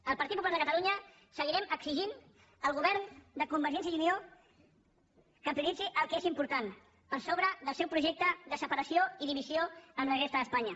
el partit popular de catalunya seguirem exigint al govern de convergència i unió que prioritzi el que és important per sobre del seu projecte de separació i divisió amb la resta d’espanya